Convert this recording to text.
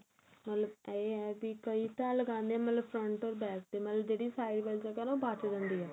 ਮਤਲਬ ਇਹ ਹੈ ਕੀ ਕਈ ਇੱਦਾ ਲੱਗਾਂਦੇ ਏ ਮਤਲਬ front or back ਤੇ ਮਤਲਬ ਜਿਹੜੀ side ਵਾਲੀ ਜਗ੍ਹਾ ਨਾ ਉਹ ਬਚ ਜਾਂਦੀ ਏ